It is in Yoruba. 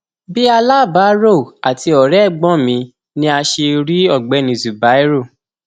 bíi aláàbárò àti ọrẹ ẹgbọn mi ni a ṣe rí ọgbẹni zubairu